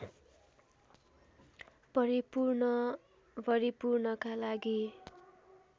परिपूर्ण भरिपूर्णका लागि